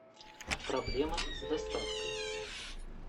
проблема с доставкой